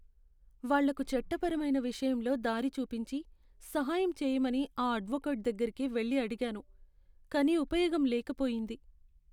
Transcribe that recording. వాళ్ళకు చట్టపరమైన విషయంలో దారి చూపించి, సహాయం చేయమని ఆ అడ్వొకేట్ దగ్గరకు వెళ్లి అడిగాను, కానీ ఉపయోగం లేకపోయింది!